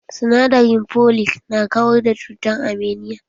Sinadarin folic na kawar da cutar anaemia